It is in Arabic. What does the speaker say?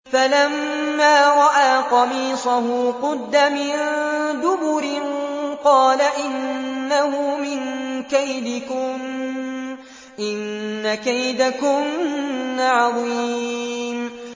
فَلَمَّا رَأَىٰ قَمِيصَهُ قُدَّ مِن دُبُرٍ قَالَ إِنَّهُ مِن كَيْدِكُنَّ ۖ إِنَّ كَيْدَكُنَّ عَظِيمٌ